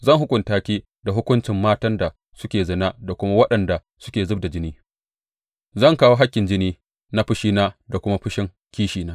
Zan hukunta ki da hukuncin matan da suke zina da kuma waɗanda suke zub da jini; zan kawo hakkin jini na fushina da kuma fushin kishina.